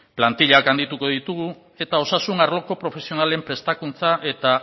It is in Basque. plantillak handituko ditugu eta osasun arloko profesionalen prestakuntza eta